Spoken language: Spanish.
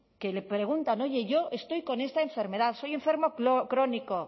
que le preguntan oye yo estoy con esta enfermedad soy enfermo crónico